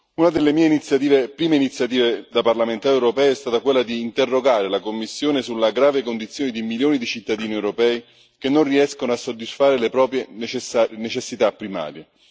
Una delle mie prime iniziative da parlamentare europeo è stata quella di interrogare la Commissione sulla grave condizione di milioni di cittadini europei che non riescono a soddisfare le proprie necessità primarie.